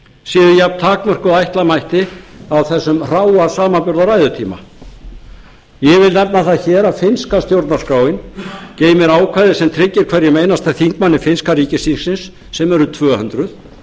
séu jafn takmörkuð og ætla mætti á þessum hráa samanburði á ræðutíma ég vil nefna það hér að finnska stjórnarskráin geymir ákvæði sem tryggir hverjum einasta þingmanni finnska ríkisþingsins sem eru tvö hundruð